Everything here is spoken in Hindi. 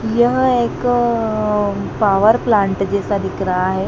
यह एक अह पॉवर प्लांट जैसा दिख रहा है।